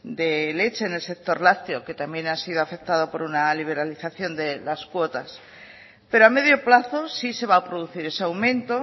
de leche en el sector lácteo que también ha sido afectado por una liberalización de las cuotas pero a medio plazo sí se va a producir ese aumento